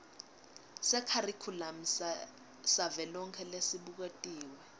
sekharikhulamu savelonkhe lesibuketiwe